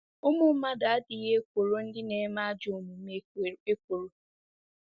Ụmụ mmadụ ‘adịghị ekworo ndị na-eme ajọ omume ekworo’.